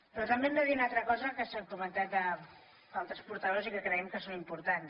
però també hem de dir una altra cosa que han comentat altres portaveus i que creiem que és important